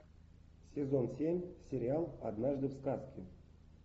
сезон семь сериал однажды в сказке